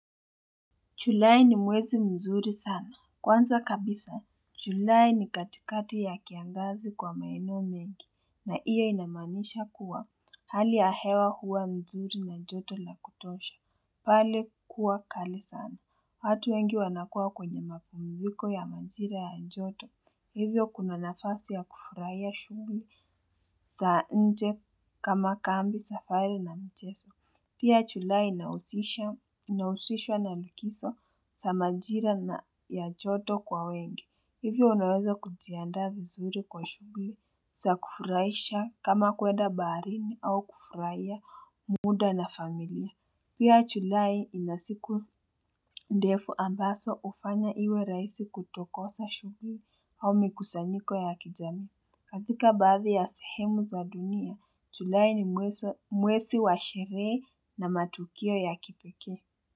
Julai ni mwezi mzuri sana. Kwanza kabisa, julai ni katikati ya kiangazi kwa maeneo mengi na hiyo inamanisha kuwa hali ya hewa huwa nzuri na joto la kutosha. Pale kuwa kali sana, watu wengi wanakua kwenye mapumiziko ya majira ya joto, hivyo kuna nafasi ya kufurahia shughli za nje kama kambi safari na mchezo, pia julai inahusishwa na likizo za majira ya joto kwa wengi, hivyo unaweza kujiandaa vizuri kwa shughli, za kufurahisha kama kwenda baharini au kufurahia muda na familia. Pia julai inasiku ndefu ambazo hufanya iwe rahisi kutokosa shughli au mikusanyiko ya kijamii katika baadhi ya sehemu za dunia, julai ni mwezi wa sherehe na matukio ya kipekee.